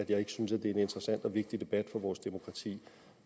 jeg ikke synes at det er en interessant og vigtig debat for vores demokrati og